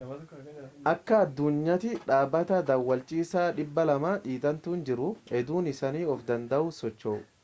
akka addunyaatti dhaabbata daawwachiisaa 200 dhi'atantu jiru hedduun isaanii of danda'anii socho'u